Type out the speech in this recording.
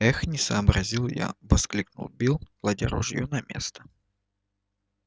эх не сообразил я воскликнул билл кладя ружьё на место